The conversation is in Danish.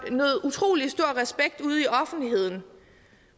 nød utrolig stor respekt ude i offentligheden